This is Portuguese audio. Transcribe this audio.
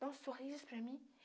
Dá um sorriso para mim.